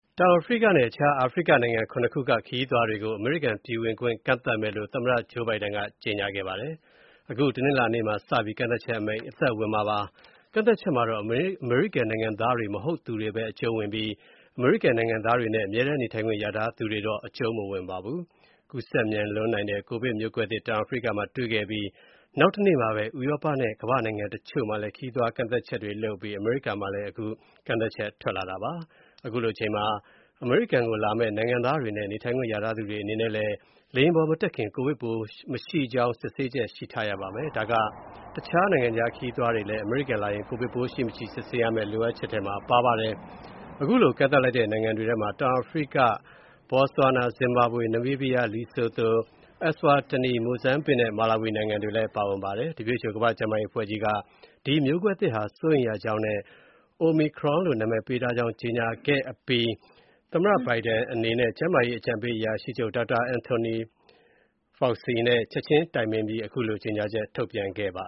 တောင်အာဖရိကနဲ့ အခြား အာဖရိကနိုင်ငံ ၇ နိုင်ငံက ခရီးသွားတွေကို အမေရိကန်ပြည်ဝင်ခွင့် ကန့်သတ်မယ်လို့ သမ္မတ Joe Biden က ကြေညာခဲ့ပါတယ်။ အခု တနင်္လာနေ့မှာ စပြီး ကန့်သတ်ချက်အမိန့် အသက်ဝင်မှာ ဖြစ်ပါတယ်။ ကန့်သတ်ချက်မှာတော့ အမေရိကန်နိုင်ငံသား မဟုတ်သူတွေဘဲ အကျုံးဝင်ပြီး အမေရိကန် နိုင်ငံသားတွေနဲ့ အမြဲတမ်းနေထိုင်ခွင့် ရထားသူတွေတော့ အကျုံးမဝင်ပါဘူး။ ကူးစက်မြန်လွန်းနိုင်တဲ့ ကိုဗစ်မျိုးကွဲသစ် တောင်အာဖရိကမှာ တွေ့ခဲ့အပြီး နောက်တရက် ဥရောပနဲ့ ကမ္ဘာ့နိုင်ငံ တချို့မှာလည်း ခရီးသွား ကန့်သတ်ချက်တွေ လုပ်လာပါတယ်။ ဒါပေမယ့် အမေရိကန် နိုင်ငံသားတွေနဲ့ နေထိုင်ခွင့်ရထားသူတွေ အနေနဲ့လည်း လေယာဉ်ပေါ်မတက်ခင် ကိုဗစ်ပိုးမရှိကြောင်း စစ်ဆေးချက် ရှိထားရပါမယ်။ ဒါက တခြား နိုင်ငံခြားခရီးသွားတွေလည်း အမေရိကန်လာရင် ကိုဗစ်ပိုးရှိမရှိ စစ်ဆေးရမယ့် လိုအပ်ချက် ရှိပါတယ်။ အခုလို ကန့်သတ်လိုက်တဲ့ နိုင်ငံတွေထဲမှာ တောင်အာဖရိက၊ ဘော့ဆွာနာ၊ ဇင်ဘာဘွေ၊ နမီးဘီးယား၊ လီဆိုသို၊ Eswatini၊ မိုဇမ်ဘစ်နဲ့ မာလာဝီနိုင်ငံတွေ ပါဝင်ပါတယ်။ WHO ကမ္ဘာ့ကျန်းမာရေးအဖွဲ့ကြီးက ဒီမျိုးကွဲသစ်ဟာ စိုးရိမ်ရကြောင်းနဲ့ Omicron လို့ နာမည်ပေးကြောင်း ကြေညာခဲ့ပါတယ်။ အခု ပြည်ဝင်ခွင့် ခရီးသွားကန့်သတ်ချက်ကိုတော့ သမ္မတ Biden အနေနဲ့ ကျန်းမာရေး အကြံပေးအရာရှိချုပ် Dr. Anthony Fauci နဲ့ ချက်ချင်းတိုင်ပင်ပြီး ထုတ်ပြန်ခဲ့တာပါ